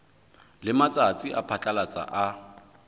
le matsatsi a phatlalatsa a